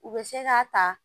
U bɛ se k'a ta